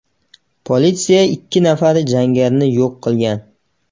Politsiya ikki nafar jangarini yo‘q qilgan.